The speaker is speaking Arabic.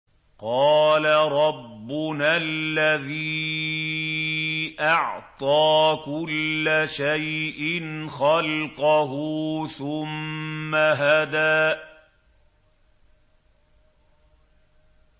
قَالَ رَبُّنَا الَّذِي أَعْطَىٰ كُلَّ شَيْءٍ خَلْقَهُ ثُمَّ هَدَىٰ